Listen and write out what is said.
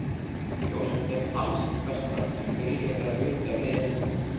Ég óska þeim alls hins besta en vil ég vera hluti af liðinu núna?